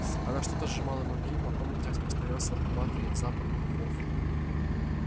она что-то сжимала в руке и по комнате распространялся сладковатый запах духов